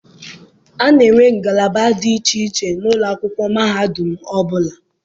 A na-enwe ngalaba dị iche iche n'ụlọ akwụkwọ mahadum ọbụla.